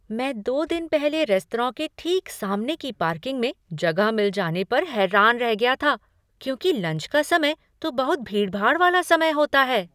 मैं दो दिन पहले रेस्तरां के ठीक सामने की पार्किंग में जगह मिल जाने पर हैरान रह गया था क्योंकि लंच का समय तो बहुत भीड़भाड़ वाला समय होता है।